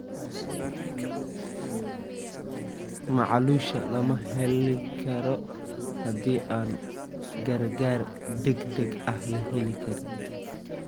Macluusha lama xalin karo haddii aan gargaar degdeg ah la helin.